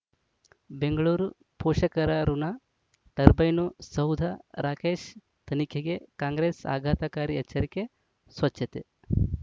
ಬೆಂಗಳೂರು ಪೋಷಕರಋಣ ಟರ್ಬೈನು ಸೌಧ ರಾಕೇಶ್ ತನಿಖೆಗೆ ಕಾಂಗ್ರೆಸ್ ಆಘಾತಕಾರಿ ಎಚ್ಚರಿಕೆ ಸ್ವಚ್ಛತೆ